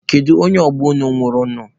Kedu onye ọgbọ unu nwụrụ nụ?